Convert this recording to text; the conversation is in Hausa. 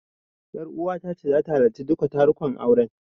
Ƴaruwata ta ce zata halarci duka tarukan auren.